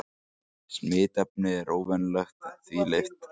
Smitefnið er óvenjulegt að því leyti að það er prótín án kjarnasýru.